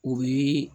O bɛ